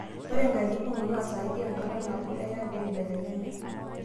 Ore nkatitin kumok naa saidi enkata nabo eya pee eibelekenya.